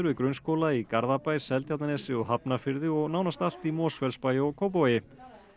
við grunnskóla í Garðabæ Seltjarnarnesi og Hafnarfirði og nánast allt í Mosfellsbæ og Kópavogi